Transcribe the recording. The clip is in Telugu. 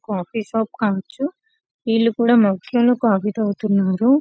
కాఫీ షాప్ కావచ్చు వీళ్ళు కూడా కాఫీ తాగుతున్నారు.